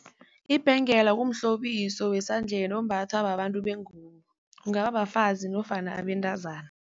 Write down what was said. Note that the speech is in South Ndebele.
Ibhengela kumhlobiso wesandleni ombathwa babantu bengubo, kungaba bafazi nofana abentazana.